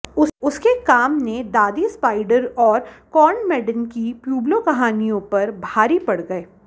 उसके काम ने दादी स्पाइडर और कॉर्न मेडेन की प्यूब्लो कहानियों पर भारी पड़ गए